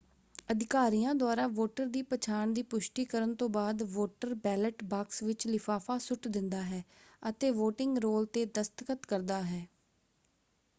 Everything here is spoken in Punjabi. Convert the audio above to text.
ਅਧਿਕਾਰੀਆਂ ਦੁਆਰਾ ਵੋਟਰ ਦੀ ਪਛਾਣ ਦੀ ਪੁਸ਼ਟੀ ਕਰਨ ਤੋਂ ਬਾਅਦ ਵੋਟਰ ਬੈਲਟ ਬਾਕਸ ਵਿੱਚ ਲਿਫ਼ਾਫ਼ਾ ਸੁੱਟ ਦਿੰਦਾ ਹੈ ਅਤੇ ਵੋਟਿੰਗ ਰੋਲ ‘ਤੇ ਦਸਤਖਤ ਕਰਦਾ ਹੈ।